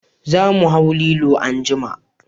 Za mu hau lilo anjima